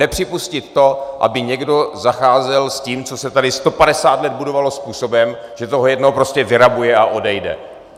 Nepřipustit to, aby někdo zacházel s tím, co se tady 150 let budovalo, způsobem, že to jednou prostě vyrabuje a odejde.